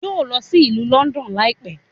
Yóò lọ sí ìlú Lọ́ndọ̀n láìpẹ́